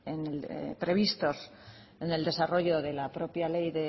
previstos en el desarrollo de la propia ley